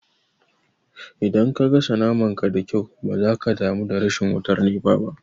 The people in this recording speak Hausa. Idan ka gasa naman ka da kyau ba za ka damu da rashin wutar nefa ba